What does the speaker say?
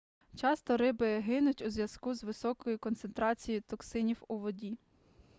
часто риби гинуть у зв'язку з високою концентрацією токсинів у воді